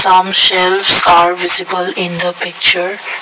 Some shelves are visible in the picture.